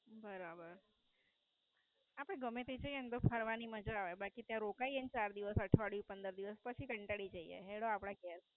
બરાબર. આપડે ગમે એમ જઇયે ત્યાં ફરવાની મજા આવે. પછી ત્યાં રોકાયે ચાર દિવસ કંટાળી જઇયે. હેંડો આપડા ઘેર.